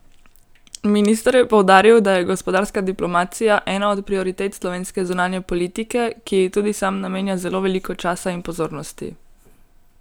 Minister je poudaril, da je gospodarska diplomacija ena od prioritet slovenske zunanje politike, ki ji tudi sam namenja zelo veliko časa in pozornosti.